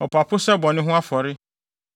ɔpapo sɛ bɔne ho afɔre